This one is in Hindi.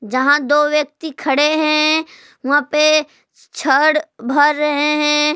जहां दो व्यक्ति खड़े हैं वहां पे छड़ भी रहे हैं।